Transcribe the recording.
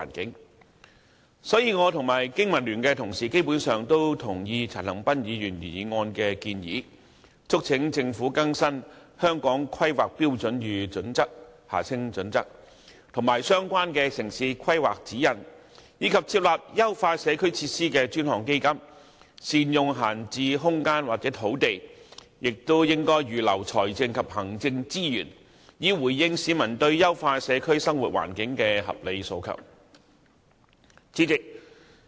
因此，我與香港經濟民生聯盟的同事基本上同意陳恒鑌議員原議案的建議，促請政府更新《香港規劃標準與準則》、相關的《城市規劃指引》，以及設立優化社區設施的專項基金，善用閒置空間或土地，並預留財政及行政資源，以回應市民對優化社區生活環境的合理訴求。